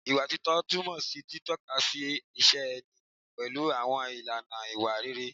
Ìwà títọ́ túmọ̀ sí títọ́kasí ìṣe ẹni pẹ̀lú àwọn ìlànà ìwà rere